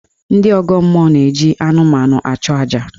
Ndị ọgọ mmụọ na-eji anụmanụ achụ aja.